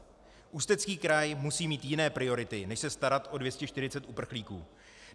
Ústecký kraj musí mít jiné priority než se starat o 240 uprchlíků.